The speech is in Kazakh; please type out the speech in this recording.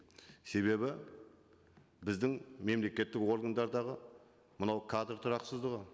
себебі біздің мемлекеттік органдардағы мынау кадр тұрақсыздығы